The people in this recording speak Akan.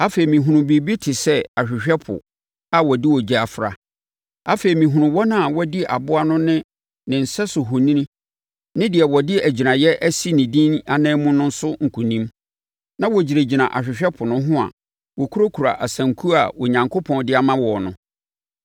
Afei, mehunuu biribi te sɛ ahwehwɛ ɛpo a wɔde ogya afra. Afei, mehunuu wɔn a wɔadi aboa no ne ne sɛso ohoni ne deɛ wɔde agyiraeɛ asi ne din anan mu no so nkonim. Na wɔgyinagyina ahwehwɛ ɛpo no ho a wɔkurakura asankuo a Onyankopɔn de ama wɔn no.